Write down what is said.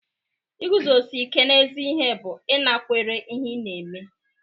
Iguzosi ike n'ezi ihe bụ ịnakwere ihe ị na-eme